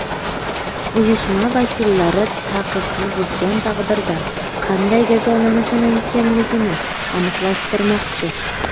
Uyushma vakillari taqiqni buzgan taqdirda qanday jazolanishi mumkinligini aniqlashtirmoqchi.